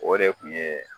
O de kun ye